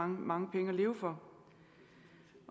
mange penge at leve for